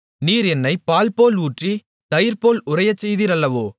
நீர் என்னைப் பால்போல் ஊற்றி தயிர்போல் உறையச் செய்தீர் அல்லவோ